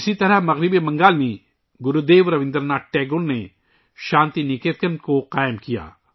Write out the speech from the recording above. اسی طرح مغربی بنگال میں گرو دیو رابندر ناتھ ٹیگور نے شانتی نکیتن قائم کیا